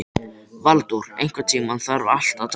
Valdór, einhvern tímann þarf allt að taka enda.